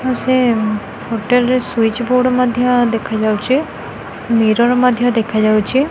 ଆଉ ସେ ଉଉଁ ହୋଟେଲ ରେ ସୁଇଚ ବୋର୍ଡ ମଧ୍ୟ ଦେଖା ଯାଉଚି ମିରର ମଧ୍ୟ ଦେଖାଯାଉଚି।